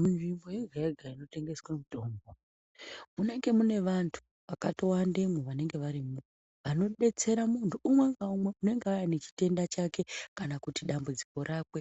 Munzvimbo yega yega inotengeswa mitombo, munenge mune vantu vakatowandemwo vanenge varimwo vanodetsera muntu unwe ngaumwe unenge auya nechitenda chake kana kuti dambudziko rake.